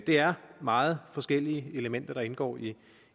det er meget forskellige elementer der indgår i